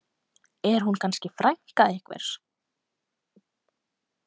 Er hún kannski frænka einhvers?